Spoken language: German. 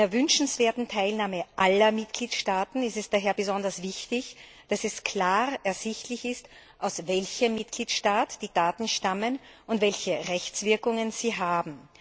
Bei einer wünschenswerten Teilnahme aller Mitgliedstaaten ist es daher besonders wichtig, dass es klar ersichtlich ist, aus welchem Mitgliedstaat die Daten stammen und welche Rechtswirkungen sie haben.